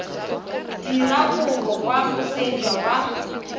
dira kopo kwa moseja wa